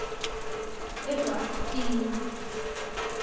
ebhabtini